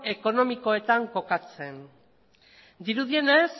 ekonomikoetan kokatzen dirudienez